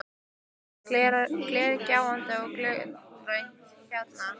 Það er glergljáandi og gulgrænt að lit.